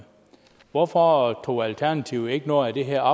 hvorfor tog alternativet ikke noget af det her